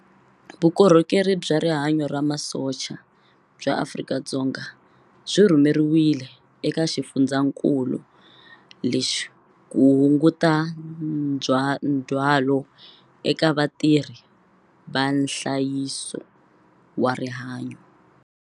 Vukorhokeri bya Rihanyu ra Masocha bya Afrika-Dzonga byi rhumeriwile eka xifundzakulu lexi ku hunguta ndzhwalo eka vatirhi va nhlayiso wa rihanyu.